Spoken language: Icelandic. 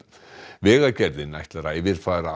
vegagerðin ætlar að yfirfara